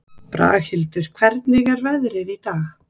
Braghildur, hvernig er veðrið í dag?